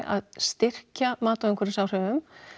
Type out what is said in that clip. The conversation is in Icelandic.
að styrkja mat á umhverfisáhrifum